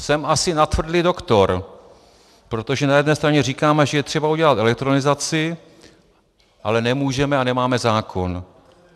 Jsem asi natvrdlý doktor, protože na jedné straně říkáme, že je třeba udělat elektronizaci, ale nemůžeme a nemáme zákon.